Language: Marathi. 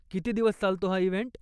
किती दिवस चालतो हा इव्हेंट?